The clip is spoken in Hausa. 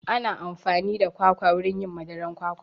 Ana amfani da kwakwa wurin yin madaran kwakwa